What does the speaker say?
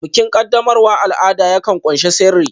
Bikin qaddamarwa al'ada yakan ƙunshi sirri